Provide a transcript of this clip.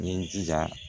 N ye jija